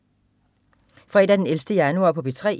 Fredag den 11. januar - P3: